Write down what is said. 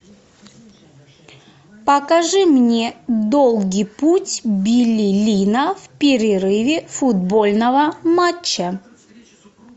покажи мне долгий путь билли линна в перерыве футбольного матча